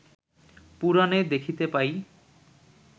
পুরাণে দেখিতে পাই